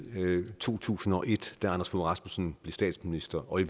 to tusind og et da anders fogh rasmussen blev statsminister og i